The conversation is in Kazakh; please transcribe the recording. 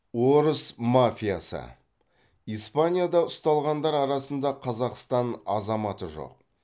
орыс мафиясы испанияда ұсталғандар арасында қазақстан азаматы жоқ